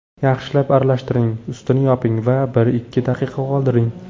Yaxshilab aralashtiring, ustini yoping va bir-ikki daqiqa qoldiring.